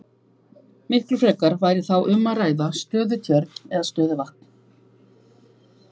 Miklu frekar væri þá um að ræða stöðutjörn eða stöðuvatn.